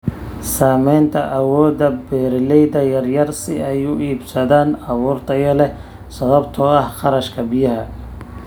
Saamaynta awoodda beeralayda yaryar si ay u iibsadaan abuur tayo leh sababtoo ah kharashka biyaha.